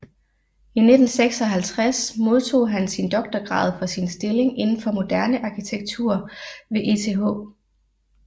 I 1956 modtog han sin doktorgrad for sin stilling inden for moderne arkitektur ved ETH